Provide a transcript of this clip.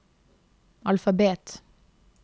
alfabet